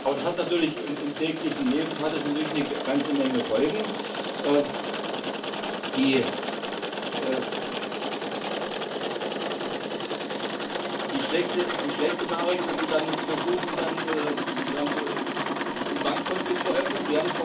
Aber das hat natürlich im täglichen Leben eine ganze Menge Folgen die schlechte Nachricht, wenn Sie dann versuchen, ein Bankkonto zu eröffnen.